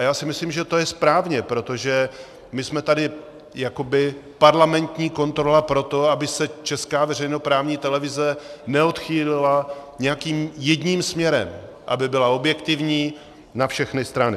A já si myslím, že to je správně, protože my jsme tady jakoby parlamentní kontrola pro to, aby se česká veřejnoprávní televize neodchýlila nějakým jedním směrem, aby byla objektivní na všechny strany.